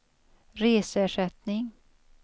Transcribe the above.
reseersättning